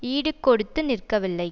ஈடுகொடுத்து நிற்கவில்லை